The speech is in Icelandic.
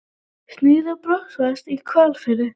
Snið af Botnsdal í Hvalfirði.